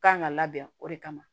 Kan ka labɛn o de kama